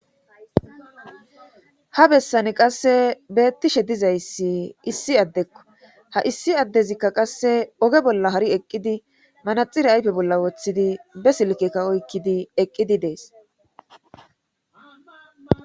ha bessani qasse beettishe dizayssi issi addekko ha issi addezikka qasse oge bolla hari eqqidi manaxire ayfe bolla woththidi be silkekka oykkidi eqqidi dees